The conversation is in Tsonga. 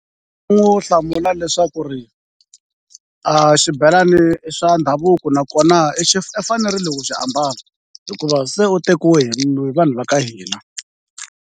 U n'wi hlamula leswaku a xibelani i swa ndhavuko nakona i fanerile ku xi ambala hikuva se u tekiwa hi vanhu va ka hina.